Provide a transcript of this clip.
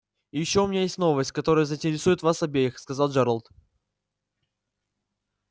и ещё у меня есть новость которая заинтересует вас обеих сказал джералд